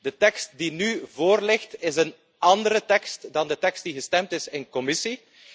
De tekst die nu voorligt is een andere tekst dan de tekst die gestemd is in commissie.